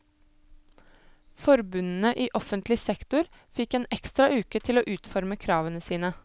Forbundene i offentlig sektor fikk en ekstra uke til å utforme kravene sine.